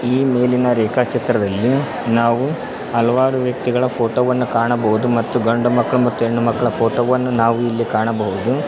ಈ ಮೇಲಿನ ರೇಖಾಚಿತ್ರದಲ್ಲಿ ನಾವು ಹಲವಾರು ವ್ಯಕ್ತಿಗಳ ಫೋಟೋ ವನ್ನ ಕಾಣಬಹುದು ಮತ್ತು ಗಂಡು ಮಕ್ಕಳ ಮತ್ತು ಹೆಣ್ಣು ಮಕ್ಕಳ ಫೋಟೋ ವನ್ನು ನಾವು ಇಲ್ಲಿ ಕಾಣಬಹುದು.